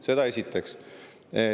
Seda esiteks.